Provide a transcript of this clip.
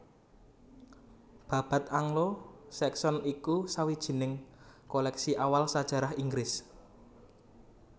Babad Anglo Saxon iku sawijining kolèksi awal sajarah Inggris